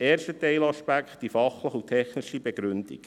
Erster Teilaspekt, die fachliche und technische Begründung: